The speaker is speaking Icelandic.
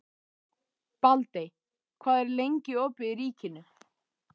Baldey, hvað er lengi opið í Ríkinu?